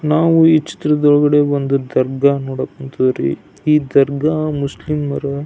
ನಾವು ಈ ಚಿತ್ರದೊಳಗಡೆ ಒಂದು ದರ್ಗಾ ನೋಡಕ್ ಹೋನ್ತಿವಿರಿ ಈ ದರ್ಗಾ ಈ ಮುಸ್ಲಿಮರು.